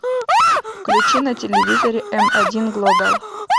включи на телевизоре м один глобал